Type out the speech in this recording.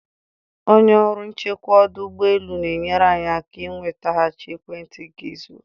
Onye ọrụ nchekwa ọdụ ụgbọ elu na-enyere anyị aka ị nwetaghachi ekwentị gị zuru